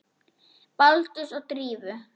Baldurs og Drífu?